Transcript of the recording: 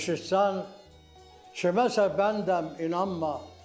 Eşitsən, kiməsə bəndəm inanma.